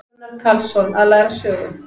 Gunnar Karlsson: Að læra af sögu.